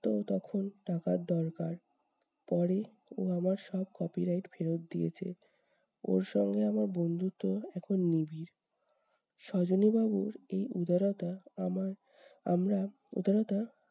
তো তখন টাকার দরকার, পরে ও আমার সব copyright ফেরত দিয়েছে। ওর সঙ্গে আমার বন্ধুত্ব এখন নিবিড়। সজনি বাবুর এই উদারতা আমার আমরা উদারতা